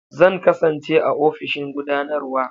Zan kasance a ofishin gudanarwa.